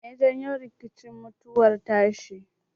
Meye ya janyo mutuwar tashi?